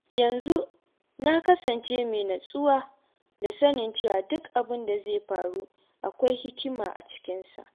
Yanzu na kasance mai nutsuwa da sanin cewa duk abin da zai faru, akwai hikima a cikinsa.